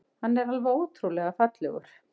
Hann er alveg ótrúlega fallegur.